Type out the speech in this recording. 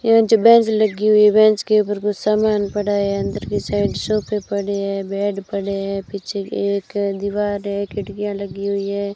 यहां जो बेंच लगी हुई है बेंच के ऊपर कुछ सामान पड़ा है अंदर की साइड सोफे पड़े है बेड पड़े है पीछे के एक दीवार है खिड़कियां लगी हुई है।